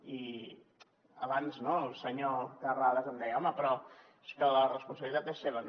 i abans el senyor terrades em deia home però és que la responsabilitat és seva